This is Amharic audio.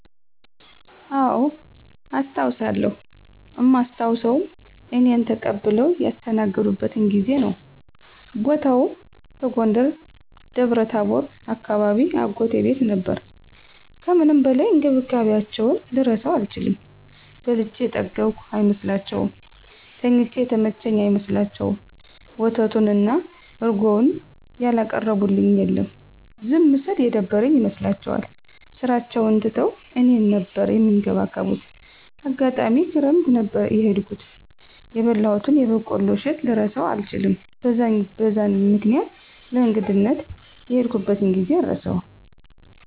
አዎ አስታዉሳለው እማስታዉሰዉም እኔን ተቀብለዉ ያስተናገዱበትን ጊዜ ነዉ። ቦታዉም በጎንደር ደብረታቦር አካባቢ አጎቴ ቤት ነበር ከምንም በላይ እንክብካቤያቸዉን ልረሳዉ አልችልም። በልቼ የጠገብኩ አይመስላቸዉም፣ ተኝቼ የተመቸኝ አይመስላቸዉም፣ ወተቱን እና እረጎዉን ያላቀረቡልኝ የለም። ዝም ስል የደበረኝ ይመስላቸዋል ስራቸዉን ትተዉ እኔን ነበር እሚንከባከቡት፣ አጋጣሚ ክረምት ነበር የሄድኩት የበላሁትን የበቆሎ እሸት ልረሳዉ አልችልም። በዛን በዛን ምክኒያት ለእንግድነት የሄድኩበትን ጊዜ አረሳዉም።